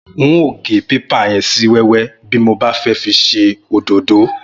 N óò gé pépà yẹn sí wẹ́wẹ́ bí mo bá fẹ́ fi ṣe òdódó